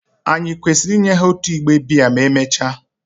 Ànyị kwesịrị inye ha otu igbe biya ma emechaa?